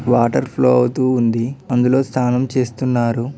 Water flow అవుతూ ఉంది అందులో స్నానం చేస్తున్నారు.